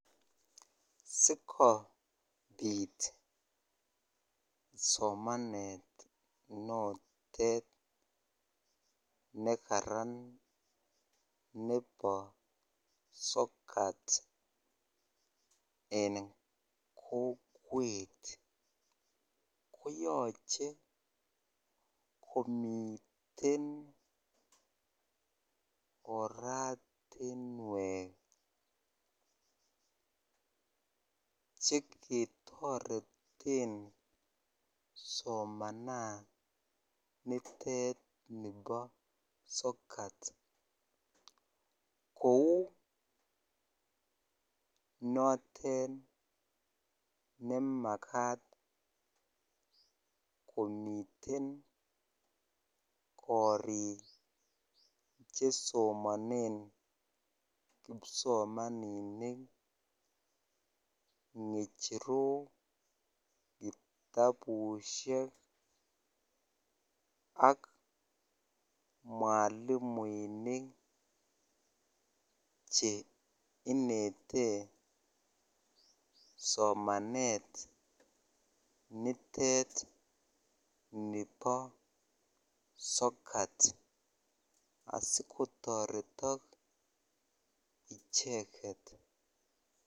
Sikobit somanet notet nekaran nebo sokat en kokwet koyoche komiten oratinwek cheketoreten somananitet nebo sokat kou notet nemakat komiten korik chesomanen kipsomaninik, ng'echerok, kitabusiek ak mwalimuinik cheinete somanet nitet nibo sokat asikotoretok icheket.